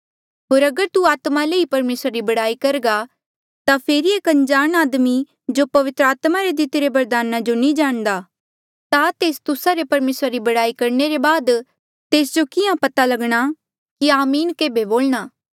होर अगर तू आत्मा ले ई परमेसरा री बड़ाई करघा ता फेरी एक अनजाण आदमी जो पवित्र आत्मा रे दितिरे बरदाना जो नी जाणदा ता तेस तुस्सा रे परमेसरा री बड़ाई करणे रे बाद तेस जो किहाँ पता लगणा कि आमीन केभे बोलणा